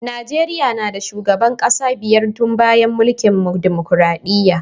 Najeriya na da shugaban kasa biyar tun bayan mulkin dimokuradiyya.